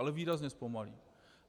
Ale výrazně zpomalí.